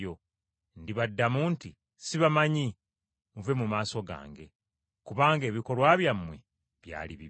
Ndibaddamu nti, ‘Sibamanyi, muve mu maaso gange, kubanga ebikolwa byammwe byali bibi.’ ”